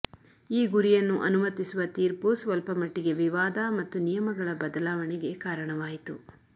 ಈ ಗುರಿಯನ್ನು ಅನುಮತಿಸುವ ತೀರ್ಪು ಸ್ವಲ್ಪಮಟ್ಟಿಗೆ ವಿವಾದ ಮತ್ತು ನಿಯಮಗಳ ಬದಲಾವಣೆಗೆ ಕಾರಣವಾಯಿತು